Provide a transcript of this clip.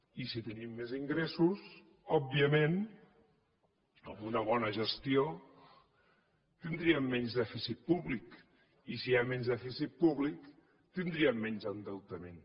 i si tenim més ingressos òbviament amb una bona gestió tindríem menys dèficit públic i si hi ha menys dèficit públic tindríem menys endeutament